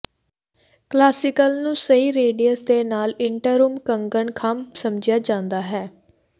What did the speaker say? classical ਨੂੰ ਸਹੀ radius ਦੇ ਨਾਲ ਇੰਟਰਰੂਮ ਕੰਗਣ ਖੰਭ ਸਮਝਿਆ ਜਾਂਦਾ ਹੈ